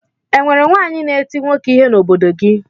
E nwere nwaanyị na-eti nwoke ihe n'obodo gị?